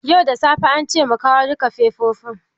Yau da safe ance mu kawo duka fefofin.